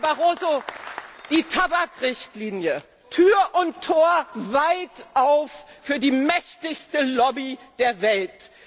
Herr Barroso, die Tabakrichtlinie Tür und Tor weit auf für die mächtigste Lobby der Welt!